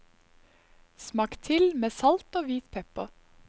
Smak til med salt og hvit pepper.